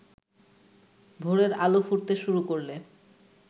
ভোরের আলো ফুটতে শুরু করলে